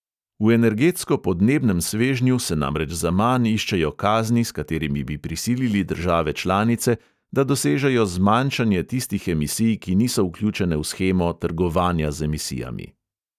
V energetsko-podnebnem svežnju se namreč zaman iščejo kazni, s katerimi bi prisilili države članice, da dosežejo zmanjšanje tistih emisij, ki niso vključene v shemo trgovanja z emisijami.